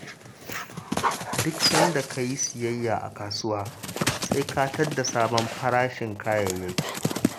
Duk sanda ka yi siyayya a kasuwa sai ka tadda sabon farashin kayayyaki.